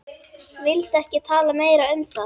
Vildi ekki tala meira um það.